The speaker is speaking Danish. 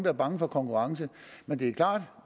er bange for konkurrence men det er klart